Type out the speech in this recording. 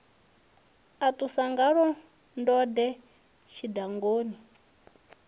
a ṱusa ngaḽo ndode tshidangani